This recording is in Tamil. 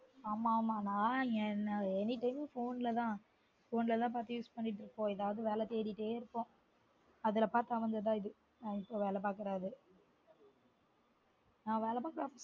ஆமா ஆமா நான் anytime phone ல தான் phone ல தான் பார்த்து use பண்ணிட்டுருக்கோம் ஏதாவது வேல தேடிட்டே இருப்போம் அதுல பார்த்து அமைஞ்சது தான் இது நான் இப்ப வேல பார்க்குறது நான் வேல பாக்குற